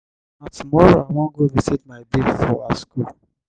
na tomorrow i wan go visit my babe for her skool.